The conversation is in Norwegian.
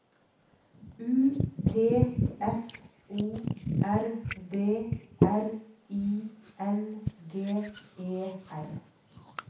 U T F O R D R I N G E R